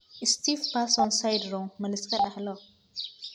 Stiff person syndrome ma la iska dhaxlo?